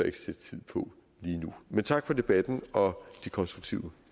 ikke sætte tid på lige nu men tak for debatten og de konstruktive